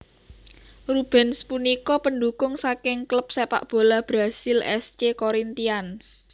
Rubens punika pendukung saking klub sepak bola Brasil S C Corinthians